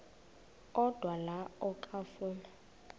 odwa la okafuna